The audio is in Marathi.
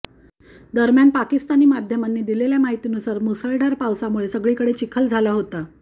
दरम्यान पाकिस्तानी माध्यमांनी दिलेल्या माहितीनुसार मुसळधार पावसामुळे सगळीकडे चिखल झाला होता